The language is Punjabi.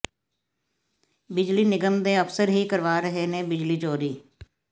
ਬਿਜਲੀ ਨਿਗਮ ਦੇ ਅਫ਼ਸਰ ਹੀ ਕਰਵਾ ਰਹੇ ਨੇ ਬਿਜਲੀ ਚੋਰੀ